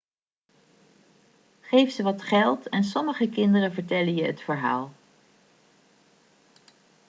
geef ze wat geld en sommige kinderen vertellen je het verhaal